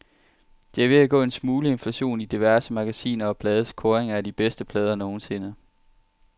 Der er ved at gå en smule inflation i diverse magasiner og blades kåringer af de bedste plader nogensinde.